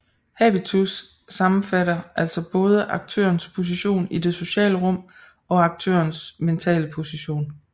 Habitus sammenfatter altså både aktørens position i det sociale rum og aktørens mentale position